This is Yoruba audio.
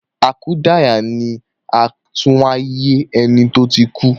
Akudaya ni àtúnwáyé eni to tí kú